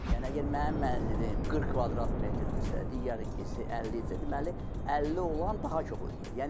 Yəni əgər mənim mənzilim 40 kvadrat metrdirsə, digərininki isə 50 isə, deməli 50 olan daha çox ödəyir.